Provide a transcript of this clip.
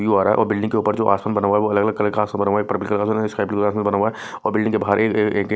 हो रहा है और बिल्डिंग के ऊपर जो आसमान बना हुआ है वो अलग-अलग का आसमान बना हुआ है पर का आसमान बना हुआ है बिल्डिंग के बाहर एक--